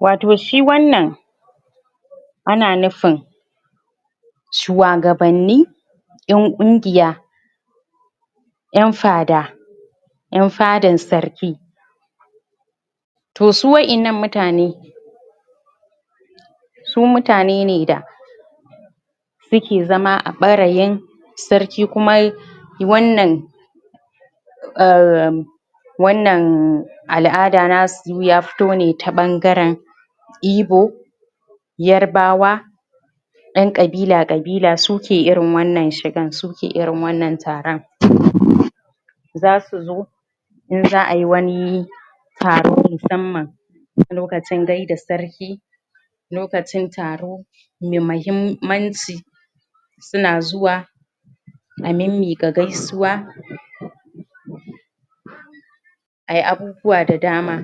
Watau shi wannan ana nufin shuwagabanni ƴan ƙungiya ƴan fada ƴan fadan sarki to su wa'innan mutane su mutane ne da suke zama a ɓarayin sarki kuma yi wannan um wannan al'ada nasu ya fito ne ta wannan ɓangaren Ibo Yarbawa ƴan ƙabila ƙabila su ke wannan shigan su ke wannan taron? zasu zo in za a ayi wani taro na musamman lokacin gaida sarki lokacin taro Mai mahimmanci suna zuwa a mimmiƙa gaisuwa ayi abubuwa da dama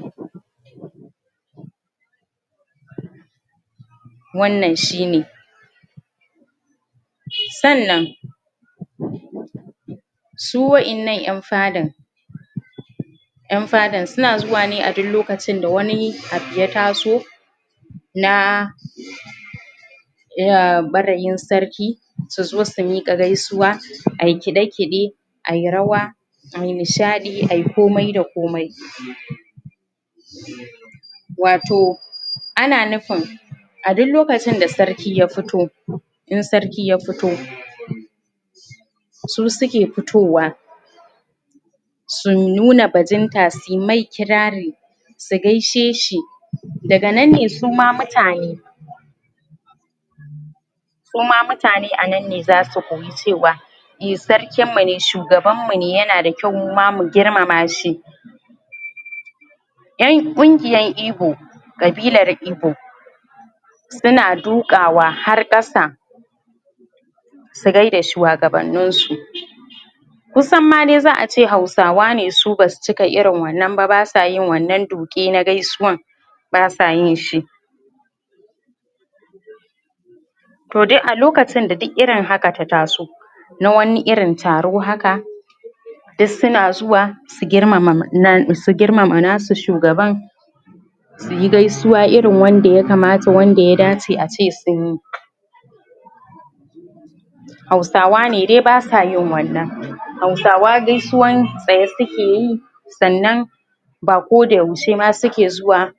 wannan shine sannan su wa'innan ƴan fadan ƴan fadan suna zuwa ne a duk lokacin da wani abu ya taso na um ɓarayin sarki su zo su miƙa gaisuwa ayi kiɗe kiɗe ayi rawa ayi nishaɗi ayi komai da komai watau ana nufin a duk lokacin da sarki ya fito in sarki ya fito su suke fitowa su nuna bajinta suyi mai kirari su gaishe shi daga nan ne suma mutane su ma mutane a nan ne zazu koyi cewa sarkin mu ne shugaban mu ne yana da kyau mu ma mu girmama shi ƴan ƙungiyan Ibo ƙabilar Ibo Suna duƙawa har ƙasa su gaida shuwagabannin su kusan ma dai za a ce hausawa ne su basu cika irin wannan ba basa yin wannan duƙe na gaisuwan basa yin shi to dai a lokacin da duk irin haka ta taso Na wani irin taro haka duk suna zuwasu girmama nasu shugaban suyi gaisuwa irin wanda ya kamata wanda ya dace ace sunyi hausawa ne dai basa yin wannan. Hausawa gaisuwan tsaye suke yi sannan ba koda yaushe ma suke zuwa